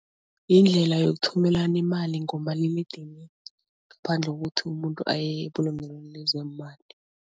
Yindlela yokuthumelana imali ngomaliledinini ngaphandle kokuthi umuntu aye ebulungelweni lezeemali.